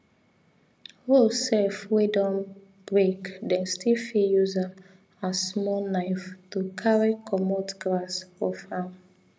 hoe seff wey don breake them still fit use am as small knife to carry cummot grass for farm